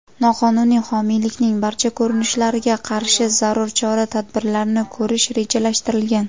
noqonuniy homiylikning barcha ko‘rinishlariga qarshi zarur chora-tadbirlarni ko‘rish rejalashtirilgan.